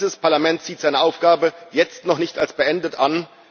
Denn dieses Parlament sieht seine Aufgabe jetzt noch nicht als beendet an.